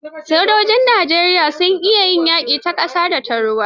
Sojojin Najeriya sun iya yaƙi ta ƙasa da ta ruwa.